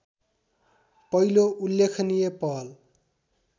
पहिलो उल्लेखनीय पहल